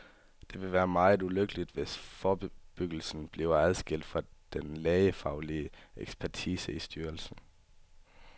Det ville være meget ulykkeligt, hvis forebyggelsen bliver adskildt fra den lægefaglige ekspertise i styrelsen.